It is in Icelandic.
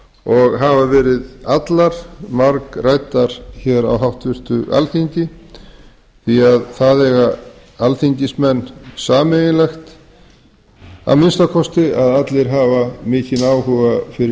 og hafa verið allar margræddar hér á háttvirtu alþingi því að það eiga alþingismenn sameiginlegt að minnsta kosti að allir hafa mikinn áhuga fyrir